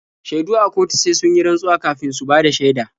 Shaidu a kotu sai sun yi rantsuwa kafin su bada shaida.